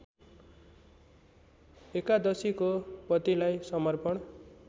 एकादशीको पतिलाई समर्पण